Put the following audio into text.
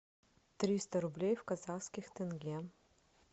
триста рублей в казахских тенге